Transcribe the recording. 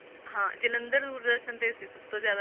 ਹਾਂ ਜਲੰਧਰ ਦੂਰ ਦਰਸ਼ਨ ਤੇ ਸੀ ਸਭ ਤੋਂ ਜ਼ਿਆਦਾ,